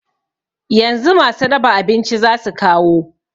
Yanzu masu raba abinci zasu kawo